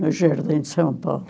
No Jardim de São Paulo.